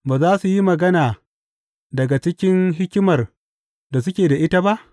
Ba za su yi magana daga cikin hikimar da suke da ita ba?